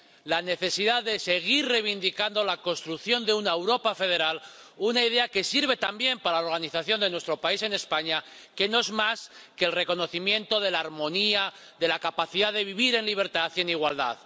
La necesidad de seguir reivindicando la construcción de una Europa federal, una idea que sirve también para la organización de nuestro país, España, que no es más que el reconocimiento de la armonía, de la capacidad de vivir en libertad y en igualdad.